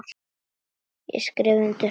Ég skrifa undir núna.